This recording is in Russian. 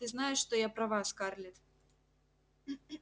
ты знаешь что я права скарлетт